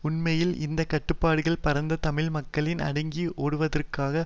உண்மையில் இந்த கட்டுப்பாடுகள் பரந்த தமிழ் மக்களின் அடக்கி ஒடுக்குவதற்காக